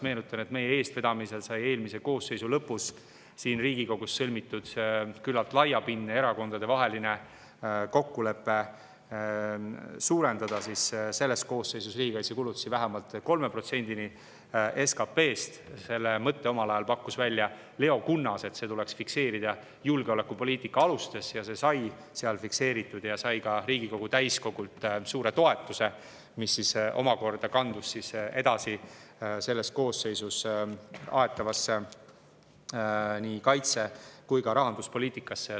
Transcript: Meenutan, et meie eestvedamisel sai eelmise koosseisu lõpus siin Riigikogus sõlmitud küllalt laiapindne erakondadevaheline kokkulepe suurendada selle koosseisu ajal riigikaitsekulutusi vähemalt 3%‑ni SKP‑st. Selle mõtte, et see tuleks fikseerida julgeolekupoliitika alustes, pakkus omal ajal välja Leo Kunnas, ja see sai seal fikseeritud ja sai ka Riigikogu täiskogult suure toetuse, mis omakorda kandus edasi selles koosseisus aetavasse nii kaitse‑ kui ka rahanduspoliitikasse.